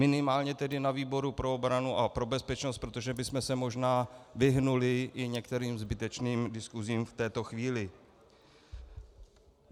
Minimálně tedy na výboru pro obranu a pro bezpečnost, protože bychom se možná vyhnuli i některým zbytečným diskusím v této chvíli.